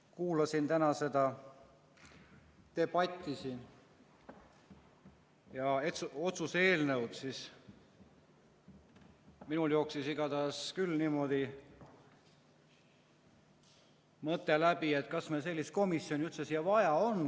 Kui kuulasin siin täna seda debatti ja otsuse eelnõu arutelu, siis minul jooksis igatahes küll peast läbi mõte, et kas meil sellist komisjoni üldse vaja on.